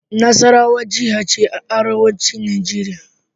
Nasarawa jiha ce a arewacin Nijeriya.